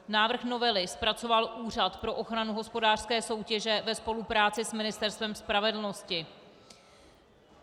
Návrh novely zpracoval Úřad pro ochranu hospodářské soutěže ve spolupráci s Ministerstvem spravedlnosti.